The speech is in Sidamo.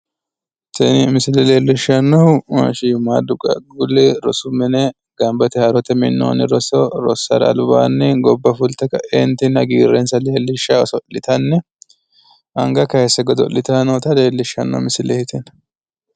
Tini misile leellishshannohu shiimmaaddu qaaqquulli rosu mine danbete haaro minnoonni roso rossara albaanni gobba fulte ka"eentinni hagiirrensa leellishshanni haagiidhitanni oso'litanna anga kaaysse godo'litannota leellishshanno misileeti.